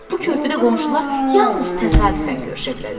Bu körpüdə qonşular yalnız təsadüfən görüşə bilərlər.